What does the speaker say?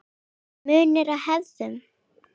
Munur á hefðum